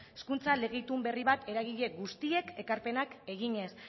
hezkuntza lege itun berri bat eragile guztiek ekarpenak eginez